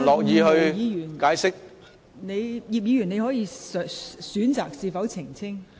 葉建源議員，你可以選擇是否澄清。